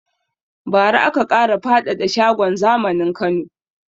Ba ra aka ƙara faɗada shagon zamanin Kano